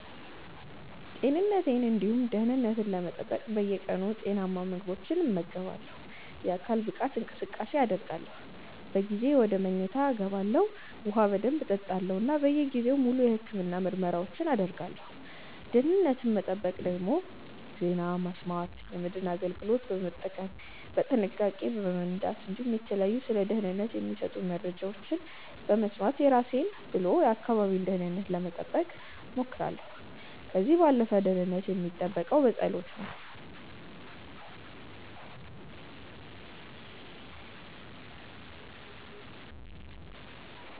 ጤንነቴን እንዲሁም ደህንነት ለመጠበቅ በየቀኑ ጤናማ ምግቦችን እመገባለሁ፣ የአካል ብቃት እንቅስቃሴን አደርጋለሁ፣ በጊዜ ወደ መኝታ ይገባለሁ፣ ውሃ በደንብ እጠጣለሁ እና በየጊዜው ሙሉ የህክምና ምርመራዎችን አደርጋለሁ። ደህንነትን ምጠብቀው ደግሞ ዜና በመስማት፣ የመድህን አገልግሎቶችን በመጠቀም፣ በጥንቃቄ በመንዳት እንዲሁም የተለያዩ ስለ ደህንነት የሚሰጡመረጃዎችን በመስማት የራሴን ብሎ የአካባቢን ደህንነት ለመጠበቅ ሞክራለሁ። ከዚህ ባለፈ ደህንነት የሚጠበቀው በጸሎት ነው